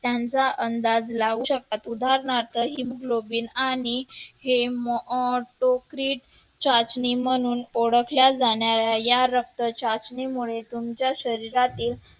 त्यांचा अंदाज लावू शकतात, उदाहरणार्थ Hemoglobin आणि Hematocrit चाचणी म्हणून ओळखल्या जाणाऱ्या या रक्तचाचणीमुळे तुमच्या शरीरातील